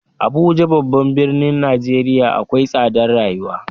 Abuja babban birnin Nijeriya akwai tsadar rayuwa.